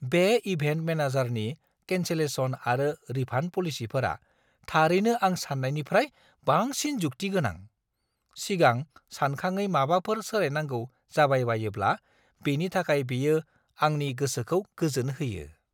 बे इभेन्ट मेनेजारनि कैन्सेलेशन आरो रिफान्ड पलिसिफोरा थारैनो आं सान्नायनिफ्राय बांसिन जुक्ति गोनां। सिगां सानखाङै माबाफोर सोलायनांगौ जाबायबायोब्ला बेनि थाखाय बेयो आंनि गोसोखौ गोजोन होयो।